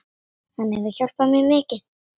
Hann hefur hjálpað mér mikið.